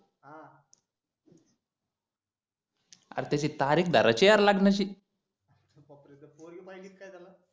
अरे त्याची तारीख धाऱ्याची ये यार लग्नाची बापरे त पोरगी पहिली का काय त्याला